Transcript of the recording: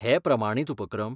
हे प्रमाणीत उपक्रम?